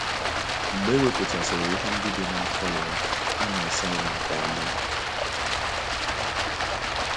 Mgbe e wepụtasịrị ihe ndị dị n’afọ ya, a na - asa ya nke ọma.